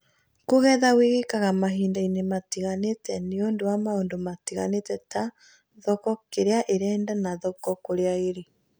Kũgetha gwĩkĩkaga mahindainĩ matiganĩte nĩũndũ wa maũndũ matiganĩte ta thoko kĩrĩa ĩrenda na thoko kũrĩa ĩrĩ